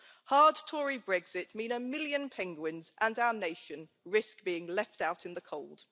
Hard Tory Brexit means a million penguins, and our nation, risk being left out in the cold.